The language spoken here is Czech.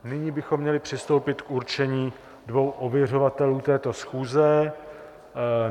Nyní bychom měli přistoupit k určení dvou ověřovatelů této schůze.